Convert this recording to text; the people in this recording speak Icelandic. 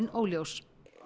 óljós